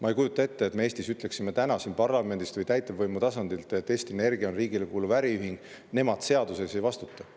Ma ei kujuta ette, et me Eestis ütleksime täna parlamendist või täitevvõimu tasandilt, et Eesti Energia on riigile kuuluv äriühing, nemad seaduse ees ei vastuta.